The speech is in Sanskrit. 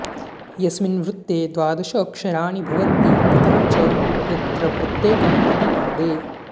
यस्मिन् वृत्ते द्वादशाक्षराणि भवन्ति तथा च यत्र प्रत्येकम् अपि पादे